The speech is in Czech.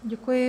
Děkuji.